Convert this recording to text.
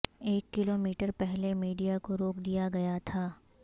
ایک kilometre پہلے media کو روک دیا گیا تھا